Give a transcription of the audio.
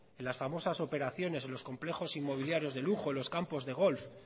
en las famosas operaciones en los complejos inmobiliarios de lujo en los campos de golf